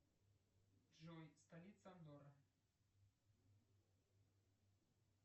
джой столица андора